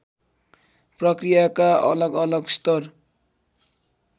प्रक्रियाका अलगअलग स्तर